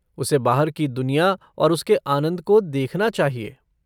उसे बाहर की दुनिया और उसके आनंद को देखना चाहिए।